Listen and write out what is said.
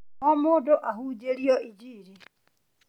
O mũndũ ahunjĩrio injiri